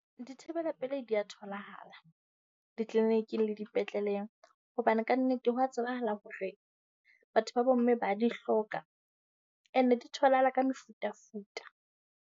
Dithibela pelei di a tholahala, di-clinic le dipetleleng. Hobane kannete ho a tsebahala hore batho ba bomme ba di hloka. And-e di tholahala ka mefutafuta.